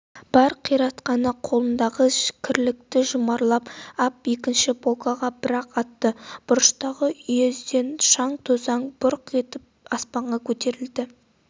бар қиратқаны қолындағы кірлікті жұмарлап ап екінші полкаға бірақ атты бұрыштағы үйездеген шаң-тозаң бұрқ етіп аспанға көтерілді